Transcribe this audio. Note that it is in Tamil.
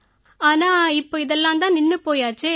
ஆனா இப்ப இதெல்லாம் தான் நின்னு போயாச்சே